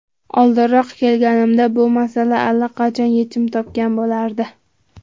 Oldinroq kelganimda, bu masala allaqachon yechim topgan bo‘lardi.